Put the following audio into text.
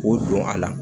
K'o don a la